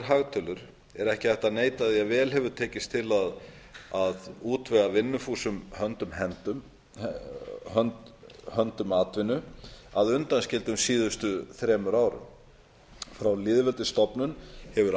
hagtölur er ekki hægt að neita því að vel hefur tekist til að útvega vinnufúsum höndum atvinnu að undanskildum síðustu þremur árum frá lýðveldisstofnun hefur